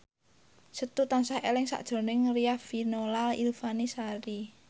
Setu tansah eling sakjroning Riafinola Ifani Sari